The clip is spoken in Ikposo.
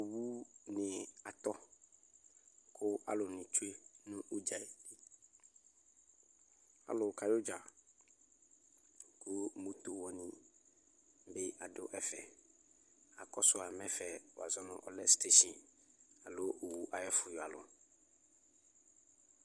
alikaɖi ayʋʋ owʋsɛƒʋ lanʋtɛ kʋ watsi ƶʋnʋ NA owʋwani abʋ kpe kpe kpee owʋwani ɔbʋba ayʋɔlɔ lɛ oƒʋe ɛkʋtɛ vi ava nʋ bi ma nʋ itsɛdi kʋ itsʋ nʋlidi ya kʋ alʋɛɖinibi aƶɛɛ ɛmɔɔ kʋ watsi ƶɔnʋ NA